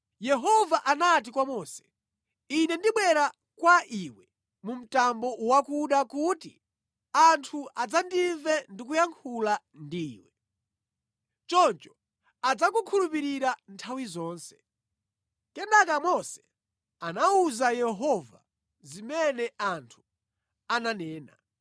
Yehova anati kwa Mose, “Ine ndibwera kwa iwe mu mtambo wakuda kuti anthu adzandimve ndikuyankhula ndi iwe. Choncho adzakukhulupirira nthawi zonse.” Kenaka Mose anawuza Yehova zimene anthu ananena.